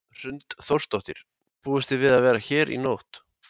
Hrund Þórsdóttir: Búist þið við að vera hérna í nótt?